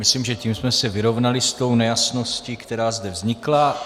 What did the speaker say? Myslím, že tím jsme se vyrovnali s tou nejasností, která zde vznikla.